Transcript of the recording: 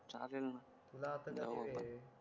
चालेल ना जाऊ आपण